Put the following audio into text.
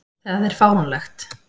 Það er fáránlegt.